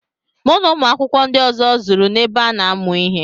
Mụ na ụmụ akwụkwọ ndị ọzọ zuru n'ebe ana amụ ihe.